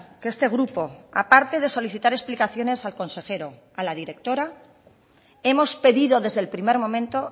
que este grupo aparte de solicitar explicaciones al consejero a la directora hemos pedido desde el primer momento